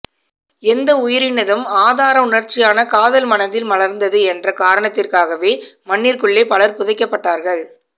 எந்த உயிரினதும் ஆதார உணர்ச்சியான காதல் மனதில் மலர்ந்தது என்ற காரணத்திற்காகவே மண்ணிற்குள்ளே பலர் புதைக்கப்பட்டார்கள்